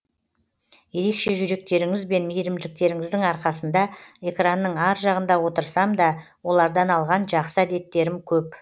ерекше жүректеріңізбен мейірімділіктеріңіздің арқасында экранның ар жағында отырсамда олардан алған жақсы әдеттерім көп